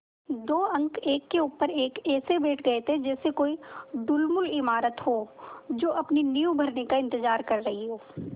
दो अंक एक के ऊपर एक ऐसे बैठ गये जैसे कोई ढुलमुल इमारत हो जो अपनी नींव भरने का इन्तज़ार कर रही हो